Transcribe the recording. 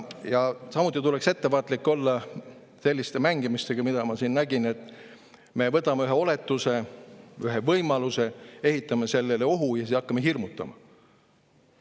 Samuti tuleks ettevaatlik olla selliste mängimistega, mida ma siin nägin, et me võtame ühe oletuse, ühe võimaluse, ehitame sellele ohu ja siis hakkame sellega hirmutama.